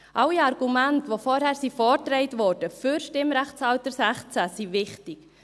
Alle Argumente, welche vorhin für das Stimmrechtsalter 16 vorgetragen wurden, sind wichtig.